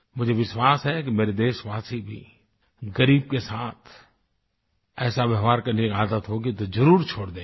मुझे विश्वास है कि मेरे देशवासी भी ग़रीब के साथ ऐसा व्यवहार करने की आदत होगी तो ज़रुर छोड़ देंगे